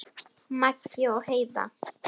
Maggi og Heiða.